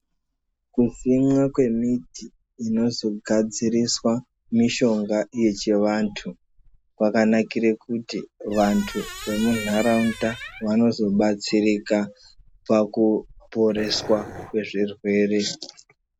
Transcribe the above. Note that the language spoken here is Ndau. Kusimwa kwemiti inozogadziriswe mishonga yechivantu kwakanakire kuti vantu vemuntaraunda vanozobatsirika pakuporeswa kwezvirwere.